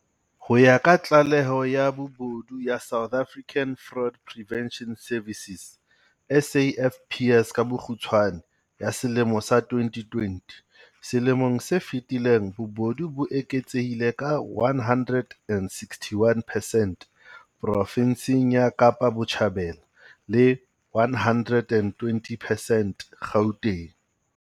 Ho ya ka tlaleho ya bobodu ya South African Fraud Prevention Service SAFPS ka bokgutshwane. Ya selemo sa 2020, selemong se fetileng bobodu bo eketsehile ka 161 percent provinseng ya Kapa Botjhabela le 120 percent Gauteng.